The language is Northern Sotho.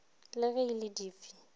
le ge e le dife